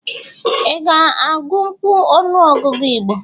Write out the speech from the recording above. Ị ga-agunkwu ọnụọgụgụ Igbo?